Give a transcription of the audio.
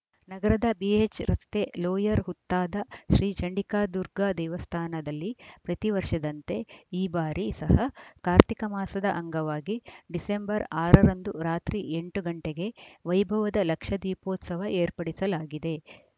ನಗರದ ಬಿಎಚ್‌ ರಸ್ತೆ ಲೋಯರ್‌ ಹುತ್ತಾದ ಶ್ರೀ ಚಂಡಿಕಾ ದುರ್ಗಾ ದೇವಸ್ಥಾನದಲ್ಲಿ ಪ್ರತಿ ವರ್ಷದಂತೆ ಈ ಬಾರಿ ಸಹ ಕಾರ್ತಿಕ ಮಾಸದ ಅಂಗವಾಗಿ ಡಿಸೆಂಬರ್ ಆರ ರಂದು ರಾತ್ರಿ ಎಂಟು ಗಂಟೆಗೆ ವೈಭವದ ಲಕ್ಷದೀಪೋತ್ಸವ ಏರ್ಪಡಿಸಲಾಗಿದೆ